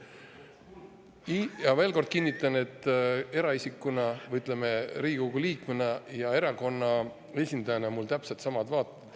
Nii et ma kinnitan veel kord: eraisikuna või, ütleme, Riigikogu liikmena ja erakonna esindajana on mul täpselt samad vaated.